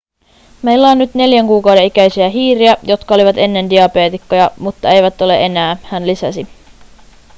meillä on nyt 4 kuukauden ikäisiä hiiriä jotka olivat ennen diabeetikkoja mutta eivät ole enää hän lisäsi